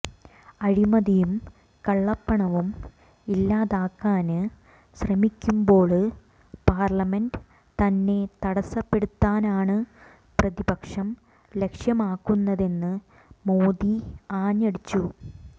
അഴിമതിയും കള്ളപ്പണവും ഇല്ലാതാക്കാന് ശ്രമിക്കുമ്പോള് പാര്ലമെന്റ് തന്നെ തടസ്സപ്പെടുത്താനാണ് പ്രതിപക്ഷം ലക്ഷ്യമാക്കുന്നതെന്ന് മോദി ആഞ്ഞടിച്ചു